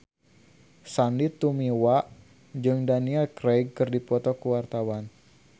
Sandy Tumiwa jeung Daniel Craig keur dipoto ku wartawan